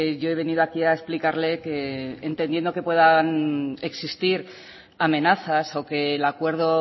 yo he venido aquí a explicarle que entendiendo que puedan existir amenazas o que el acuerdo